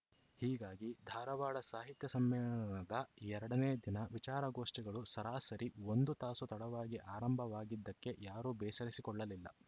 ಹೀಗಾಗಿ ಧಾರವಾಡ ಸಾಹಿತ್ಯ ಸಮ್ಮೇಳನದ ಎರಡನೇ ದಿನ ವಿಚಾರಗೋಷ್ಠಿಗಳು ಸರಾಸರಿ ಒಂದು ತಾಸು ತಡವಾಗಿ ಆರಂಭವಾಗಿದ್ದಕ್ಕೆ ಯಾರೂ ಬೇಸರಿಸಿಕೊಳ್ಳಲಿಲ್ಲ